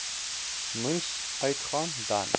moes uitgaan dan